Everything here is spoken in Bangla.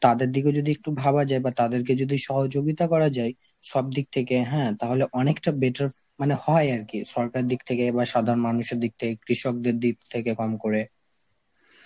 তাদের দিকেও যদি একটু ভাবা যায় বা তাদেরকে যদি সহযোগিতা করা যায় সব দিক থেকে হ্যাঁ তাহলে অনেকটা better মানে হয় আর কি, সরকারের দিক থেকে বা সাধারণ মানুষের দিক থেকে কৃষকদের দিক থেকে কম করে.